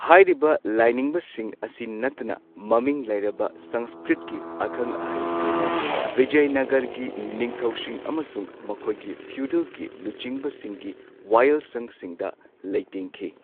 ꯍꯥꯏꯔꯤꯕ ꯂꯥꯏꯅꯤꯡꯕꯁꯤꯡ ꯑꯁꯤ ꯅꯠꯇꯅ ꯃꯃꯤꯡ ꯂꯩꯔꯕ ꯁꯪꯁꯀ꯭ꯔꯤꯠꯀꯤ ꯑꯈꯪ ꯑꯍꯩꯁꯤꯡꯅ ꯕꯤꯖꯌꯥꯅꯒꯔꯒꯤ ꯅꯤꯡꯊꯧꯁꯤꯡ ꯑꯃꯁꯨꯡ ꯃꯈꯣꯏꯒꯤ ꯐ꯭ꯌꯨꯗꯜꯒꯤ ꯂꯨꯆꯤꯡꯕꯁꯤꯡꯒꯤ ꯋꯥꯌꯦꯜꯁꯪꯁꯤꯡꯗ ꯂꯩꯇꯦꯡꯈꯤ꯫